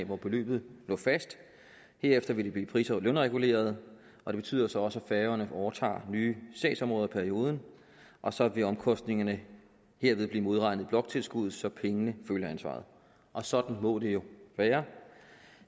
hvor beløbet lå fast herefter vil det blive pris og lønreguleret og det betyder så også at færøerne overtager nye sagsområder i perioden og så vil omkostningerne herved blive modregnet i bloktilskuddet så pengene følger ansvaret sådan må det jo være